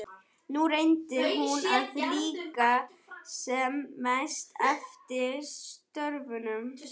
Nú reyndi hún að líkja sem mest eftir stöfunum.